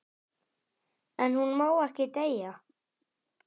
En hún má ekki deyja.